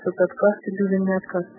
что такое